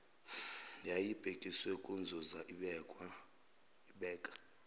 yayibhekiswe kunzuza ibeka